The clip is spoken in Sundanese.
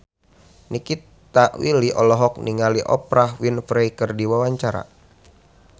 Nikita Willy olohok ningali Oprah Winfrey keur diwawancara